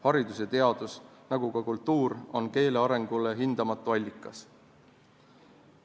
Haridus ja teadus nagu ka kultuur on keele arengu jaoks hindamatu allikas.